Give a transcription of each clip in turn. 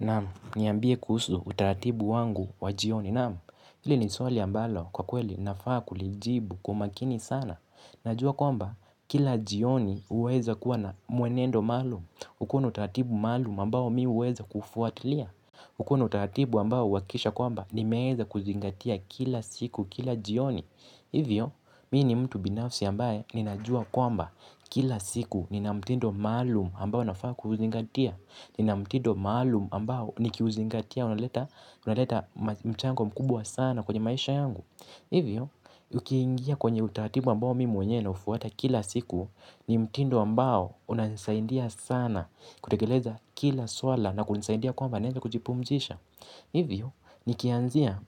Naamu, niambie kuhusu utaratibu wangu wa jioni. Naamu, hili ni swali ambalo kwa kweli nafaa kulijibu kwa umakini sana. Najua kwamba, kila jioni huweza kuwa na mwenendo maalumu. Ukona utaratibu maalum ambao mi huweza kuufuatilia. Uko na utaratibu ambao uhakikisha kwamba, nimeweza kuzingatia kila siku, kila jioni. Hivyo, mimi ni mtu binafsi ambaye, ninajua kwamba, kila siku nina mtindo maalum ambao nafaa kuuzingatia. Nina mtindo maalum ambao nikiuzingatia, unaleta mchango mkubwa sana kwenye maisha yangu. Hivyo, ukiingia kwenye utaratibu ambao mi mwenyewe naufuata kila siku. Ni mtindo ambao unasaidia sana kutekeleza kila swala na kunisaidia kwamba naweza kujipumzisha. Hivyo, nikianzia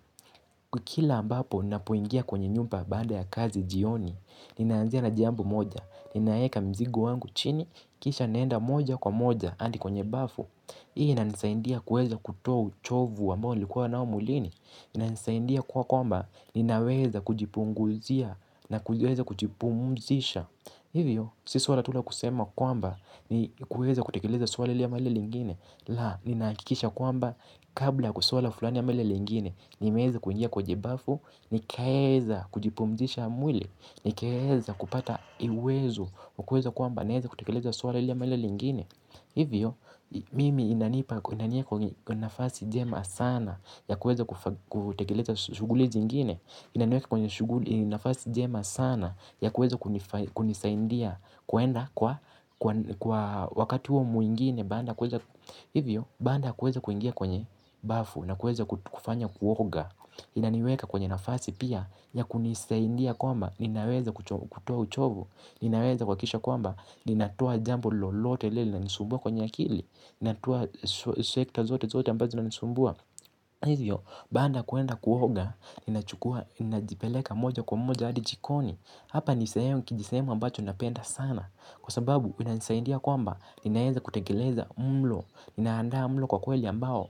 kwa kila ambapo napoingia kwenye nyumba baada ya kazi jioni ninaanzia na jambo moja, ninaweka mzigo wangu chini. Kisha naenda moja kwa moja hadi kwenye bafu. Hii inanisaindia kuweza kutoa uchovu ambao nilikuwa nao mwilini inanisaidia kwamba ninaweza kujipunguzia na kujipumzisha. Hivyo, si suala tu la kusema kwamba ni kuweza kutekeleza sua hili ama lile lingine. La, ninahakikisha kwamba kabla kusuala fulani ama lile lingine nimeweza kuingia kwenye bafu, nikaweza kujipumuzisha mwili nikaweza kupata uwezo. Kwa kuweza kwamba naweza kutekeleza suala ili ama lile lingine. Hivyo, mimi inanipa kwa nafasi jema sana ya kuweza kutekeleza shughuli zingine inaniweka kwa nafasi njema sana ya kuweza kuni kunisaidia kwenda kwa wakati huo mwingine. Hivyo, baada kuweza kuingia kwenye bafu na kuweza kufanya kuoga inaniweka kwenye nafasi pia ya kunisaidia kwamba ninaweza kutoa uchovu. Ninaweza kuhakikisha kwamba, ninatoa jambo lolote lile linanisumbua kwenye akili. Ninatoa sekta zote zote ambazo zinanisumbua. Hivyo, baada kwenda kuoga, ninachukua, ninajipeleka moja kwa moja adi jikoni. Hapa nisehemu kijisehemu ambacho napenda sana. Kwa sababu, inaisaidia kwamba, ninaweza kutengeleza mlo. Ninaandaa mlo kwa kweli ambao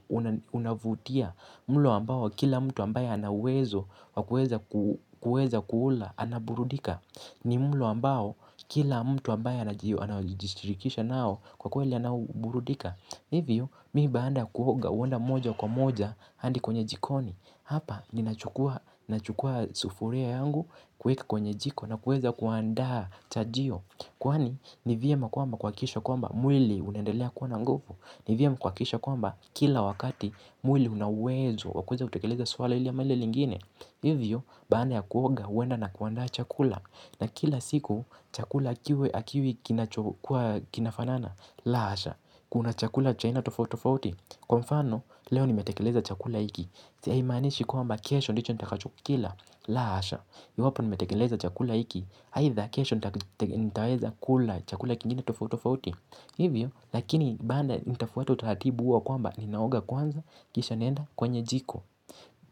unavutia. Mlo ambao kila mtu ambayo ana uwezo wakuweza kuula, anaburudika. Ni mlo ambao kila mtu ambayo anajishriikisha nao kwa kweli anaburudika. Hivyo mi baada kuoga huenda moja kwa moja hadi kwenye jikoni. Hapa ninachukua sufuria yangu kuweka kwenye jiko nakuweza kuandaa chajio. Kwani ni vyema kwamba kuhakikisha kwamba mwili unaendelea kuwa na nguvu. Ni vyema kuhakikisha kwamba kila wakati mwili una uwezo wa kuweza kutakeleza suala hili ama lile lingine. Hivyo baada ya kuoga huenda na kuandaa chakula. Na kila siku chakula kiwe hakiwi kinachofanana. La hasha, kuna chakula cha aina tofauti tofauti. Kwa mfano, leo nimetekeleza chakula hiki, haimaanishi kesho ndicho nitakacho kila ndicho nitakachokila. La hasha, iwapo nimetekeleza chakula hiki aida kesho nita nitaweza kula chakula kingine tofauti tofauti. Hivyo, lakini bado nitafuata utaratibu huo wa kwamba ninaoga kwanza, kisha naenda kwenye jiko.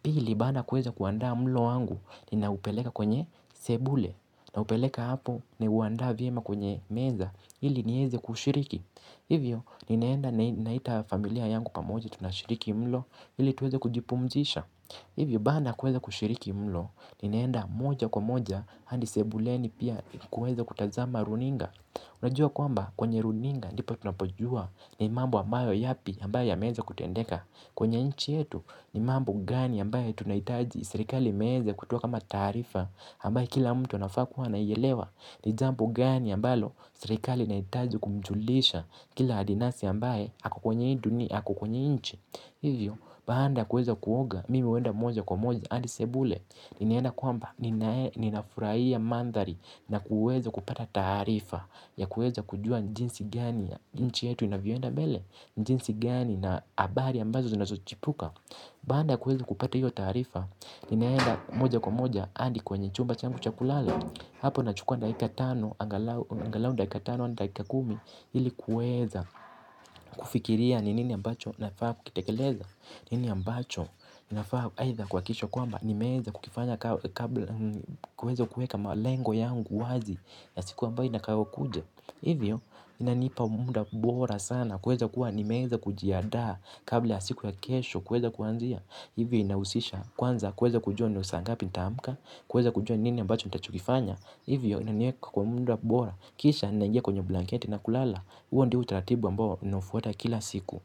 Pili baada kuweza kuandaa mlo wangu ninaupeleka kwenye sebule. Naupeleka hapo ni uandaa vyema kwenye meza hili niweze kushiriki. Hivyo ninaenda naita familia yangu pamoja tunashiriki mlo hili tuweze kujipumzisha. Hivyo baada kuweza kushiriki mlo ninaenda moja kwa moja hadi sebuleni pia kuweza kutazama runinga. Unajua kwamba kwenye runinga nipo tunapojua ni mambo ambayo yapi ambayo yameweza kutendeka. Kwenye nchi yetu ni mambo gani ambaye tunahitaji serikali imeweza kutoa kama taarifa ambayo kila mtu wanafaa kuwa anaielewa ni jambo gani ambalo serikali inahitaji kumjulisha kila adinasi ambaye ako kwenye hii dunia ako kwenye hii nchi hivyo, baada kuweza kuoga mimi huenda moja kwa moja adi sebule ninaenda kwamba ninafurahia mandhari na kuweza kupata taarifa ya kuweza kujua ni jinsi gani nchi yetu inavyoenda mbele, ni jinsi gani na habari ambazo zinazochipuka baada kuweza kupata hiyo taarifa ninaenda moja kwa moja hadi kwenye chumba changu cha kulala hapo nachukua dakika tano angalau dakika tano hadi dakika kumi ili kuweza kufikiria ni nini ambacho nafaa kukitekeleza nini ambacho nafaa aidha kuhakikisha kwamba nimeweza kukifanya kabla kuweza kuweka malengo yangu wazi ya siku ambayo inakawia kuja hivyo inanipa muda bora sana kuweza kuwa nimeweza kujiandaa kabla ya siku ya kesho kuweza kuanzia hivyo inahusisha kwanza kuweza kujua ni saa ngapi nitaamka Kuweza kujua nini ambacho nitachokifanya hivyo inaniweka kwa muda bora. Kisha ninaingia kwenye blanketi na kulala huo ndio utaratibu ambao ninaufuata kila siku.